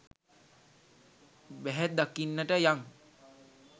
බැහැ දකින්නට යං.